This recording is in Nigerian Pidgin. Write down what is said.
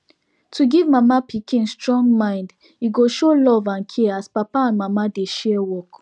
to give mama pikin strong mind e go show love and care as papa and mama dey share work